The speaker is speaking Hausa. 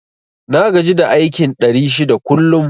Na gaji da aikin ɗari shida kullum